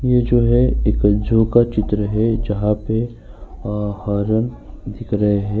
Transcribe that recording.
ये जो है एक ज़ू का चित्र है जहां पे अ हरन दिख रहे हैं।